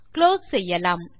close செய்யலாம்